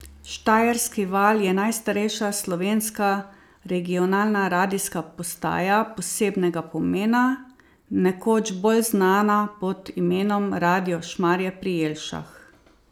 Štajerski val je najstarejša slovenska regionalna radijska postaja posebnega pomena, nekoč bolj znana pod imenom Radio Šmarje pri Jelšah.